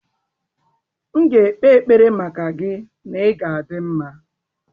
M ga-ekpe ekpere maka gị na ị ga-adị mma.